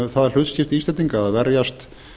um það hlutskipti íslendinga að verjast